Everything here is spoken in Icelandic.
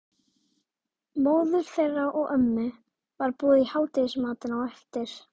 Móður þeirra og ömmu var boðið í hádegismatinn á eftir.